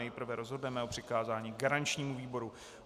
Nejprve rozhodneme o přikázání garančnímu výboru.